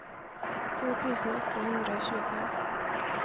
to tusen åtte hundre og tjuefem